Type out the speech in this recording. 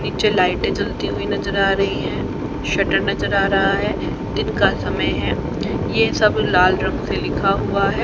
पीछे लाइटें जलती हुई नजर आ रही हैं शटर नजर आ रहा है दिन का समय है ये सब लाल रंग से लिखा हुआ है।